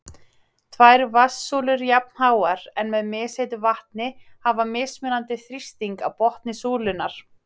Tvær vatnssúlur jafnháar, en með misheitu vatni, hafa mismunandi þrýsting í botni súlunnar.